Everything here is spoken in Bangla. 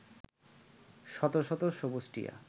শত শত সবুজ টিয়া